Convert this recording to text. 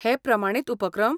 हे प्रमाणीत उपक्रम?